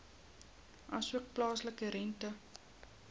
asook plaaslike rente